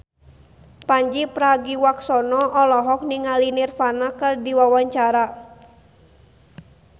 Pandji Pragiwaksono olohok ningali Nirvana keur diwawancara